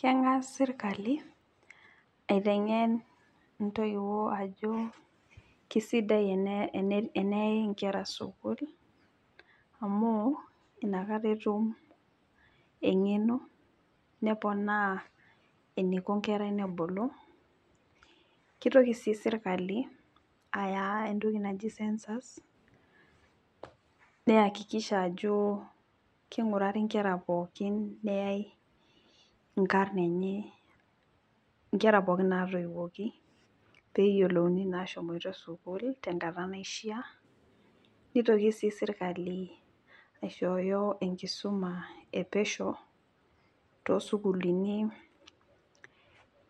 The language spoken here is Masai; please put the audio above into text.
Kengas sirkali aitengen ntoiwuo ajo keisidai teneyai nkera sukul, amu inakata etum engeno neponaa nkera eniko ebulu, kitoki sii sirkali aya entoki naji sensus neakikisha ajo kikeni nkera pookin neyai inkar enye ,nkera pookin ntaiwoki pee eyakikishae ajo eshomoito sukul tenkata naishaa ,nitoki sii sirkali aishoyo enkisuma epesho toosukulini